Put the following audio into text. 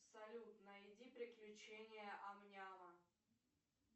салют найди приключения ам няма